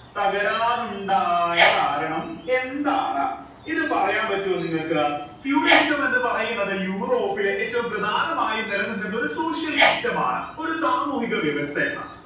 തകരാനുണ്ടായ കാരണം എന്താണ് ഇത് പറയാൻ പറ്റുമോ നിങ്ങൾക്ക് feudalism എന്ന് പറയുന്നത് യൂറോപ്പിലെ ഏറ്റവും പ്രധാനമായും നിലനിന്നിരുന്ന ഒരു social system ആണ് ഒരു സാമൂഹിക വ്യവസ്ഥയെ